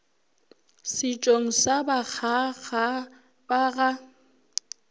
setšong sa bakgaga ba ga